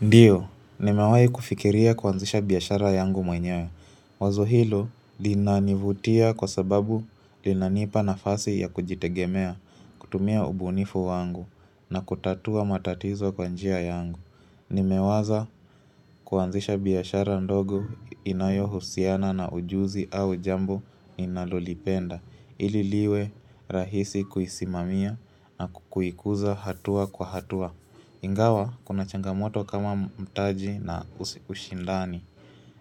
Ndiyo, nimewahi kufikiria kuanzisha biashara yangu mwenyewe. Wazo hilo linanivutia kwa sababu linanipa nafasi ya kujitegemea, kutumia ubunifu wangu na kutatua matatizo kwa njia yangu. Nimewaza kuanzisha biyashara ndogo inayohusiana na ujuzi au jambo ninalolipenda, ili liwe rahisi kuisimamia na kukuikuza hatua kwa hatua. Ingawa kuna changamoto kama mtaji na ushindani